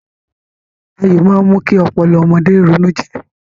Ayò máa mú kí ọpọlọ ọmọdé ronújinlè